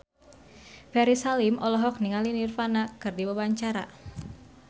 Ferry Salim olohok ningali Nirvana keur diwawancara